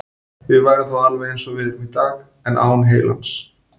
Við værum þá alveg eins og við erum í dag, en án heilans.